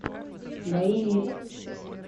боевик